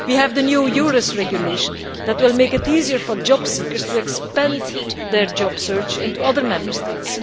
We have the new EURES regulation which will make it easier for jobseekers to widen their job search into other Member States.